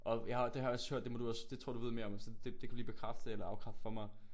Og jeg har det har jeg også hørt det må du også det tror jeg du ved mere om så det kan du lige bekræfte eller afkræfte for mig